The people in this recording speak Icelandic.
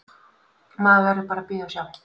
Maður verður bara að bíða og sjá.